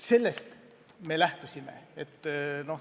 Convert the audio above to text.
Sellest me lähtusime.